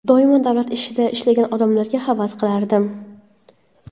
Doimo davlat ishida ishlagan odamlarga havas qilardim.